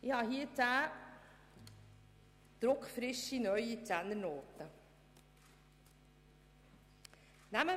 Ich habe hier zehn druckfrische neue Zehnernoten.